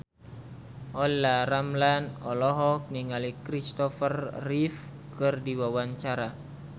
Olla Ramlan olohok ningali Christopher Reeve keur diwawancara